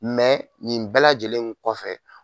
nin bɛɛ lajɛlen kɔfɛ